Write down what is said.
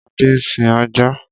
Adé ń sin ajá.